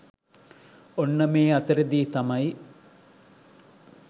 ඔන්න මේ අතරෙදි තමයි